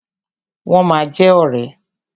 Wọ́n ma jẹ ọ̀rẹ́.